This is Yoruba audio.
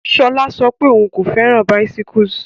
Sola sọ pé òun kò fẹ́ràn bicyles.